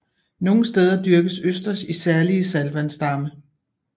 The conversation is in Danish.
Nogle steder dyrkes østers i særlige saltvandsdamme